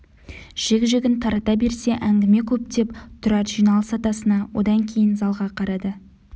жік-жігін тарата берсе әңгіме көп деп тұрар жиналыс атасына одан кейін залға қарады